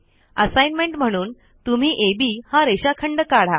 assignment म्हणून तुम्ही अब हा रेषाखंड काढा